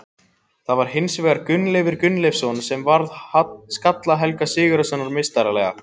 Það var hins vegar Gunnleifur Gunnleifsson sem varði skalla Helga Sigurðssonar meistaralega.